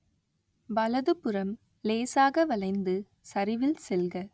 வலதுபுறம் லேசாக வளைந்து சரிவில் செல்க